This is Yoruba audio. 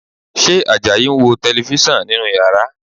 Ṣé Àjàyí ń wo Tẹlifísàn nínú yàrá?